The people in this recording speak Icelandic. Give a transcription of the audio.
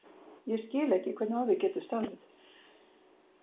Ég skil ekki, hvernig á því getur staðið